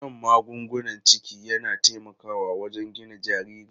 Shan magungunan ciki yana taimakawa wajen gina jariri.